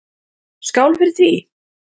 Skál fyrir því!